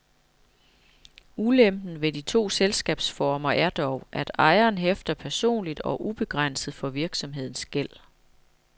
Ulempen ved de to selskabsformer er dog, at ejeren hæfter personligt og ubegrænset for virksomhedens gæld.